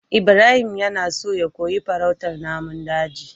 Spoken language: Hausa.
Ibrahim yana so ya koyi farautar namun daji